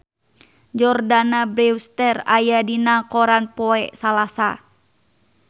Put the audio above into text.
Jordana Brewster aya dina koran poe Salasa